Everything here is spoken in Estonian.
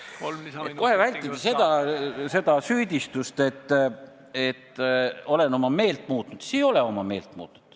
Selleks, et kohe vältida süüdistust, nagu oleksin meelt muutnud, siis ei, ma ei ole meelt muutnud.